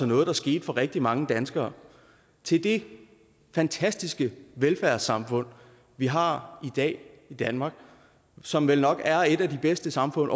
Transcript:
noget der skete for rigtig mange danskere til det fantastiske velfærdssamfund vi har i dag i danmark og som vel nok er et af de bedste samfund